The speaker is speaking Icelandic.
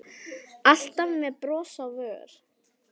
Alltaf með bros á vör.